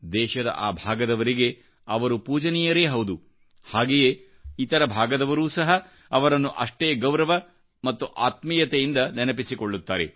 ದೇಶದ ಆ ಭಾಗದವರಿಗೆ ಅವರು ಪೂಜನೀಯರೇ ಹೌದು ಹಾಗೆಯೇ ಇತರ ಭಾಗದವರೂ ಸಹಅವರನ್ನು ಅಷ್ಟೇ ಗೌರವ ಮತ್ತು ಆತ್ಮೀಯತೆಯಿಂದ ನೆನಪಿಸಿಕೊಳ್ಳುತ್ತಾರೆ